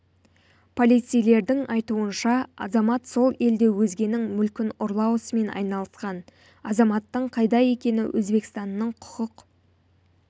полицейлердің айтуынша азамат сол елде өзгенің мүлкін ұрлау ісімен айналысқан азаматтың қайда екені өзбекстанның құқық